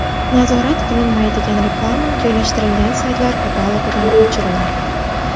Nazorat qilinmaydigan reklama joylashtirilgan saytlar katalogidan o‘chiriladi.